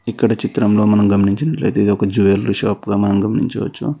ఇక్కడ చిత్రంలో మనం గమనించినట్లయితే ఇదొక జ్యువలరీ షాప్ లా మనం గమనించవచ్చు.